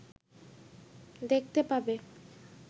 দেখতে পাবে